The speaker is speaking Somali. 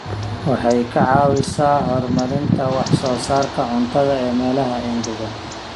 Waxay ka caawisaa horumarinta wax soo saarka cuntada ee meelaha engegan.